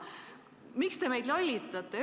Miks te meid lollitate?